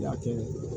Latigɛ